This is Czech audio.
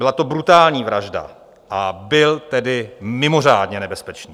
Byla to brutální vražda, a byl tedy mimořádně nebezpečný.